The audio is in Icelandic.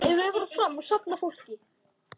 Alltént verð ég feginn.